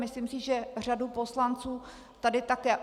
Myslím si, že řadu poslanců tady také.